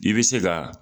I bɛ se ka